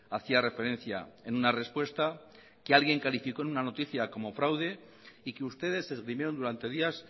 hacía referencia en una respuesta que alguien calificó en una noticia como fraude y que ustedes esgrimieron durante días